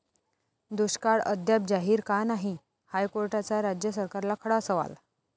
दुष्काळ अद्याप जाहीर का नाही? हायकोर्टाचा राज्य सरकारला खडा सवाल